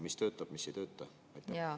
Mis töötab, mis ei tööta?